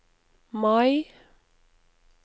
Mai